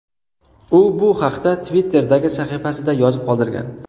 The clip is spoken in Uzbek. U bu haqda Twitter’dagi sahifasida yozib qoldirgan .